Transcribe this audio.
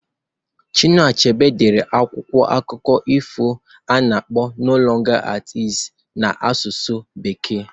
Chinua Achebe dere akwụkwọ akụkọ ifo a na-akpọ "no longer at ease" n'asụsụ bekee